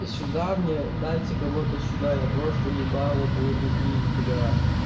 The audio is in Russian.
сюда мне дайте кого-то сюда я просто ебало буду бить бля